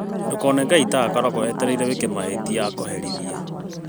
Ndũkone Ngai ta akoragwo etereire wĩke mahĩtia akũherithie